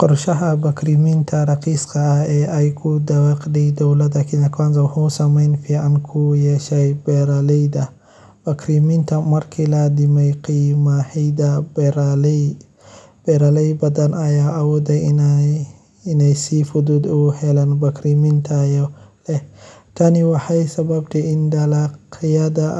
qorshaha bacriminta raqiiska ah ee dowladda Kenya Kwanza ku dhawaaqday ha noqotee, qaar ka mid ah caqabadaha la ogaaday waxaa ka mid ah helitaan xaddidan oo beeraleyda qaarkood ah, ogeysiisyo soo noqnoqday oo hakad gelin kara isticmaalka waqtiga, iyo liidashada geeddi-socodka qaybinta bacriminta – kuwaasoo carqaladeyn kara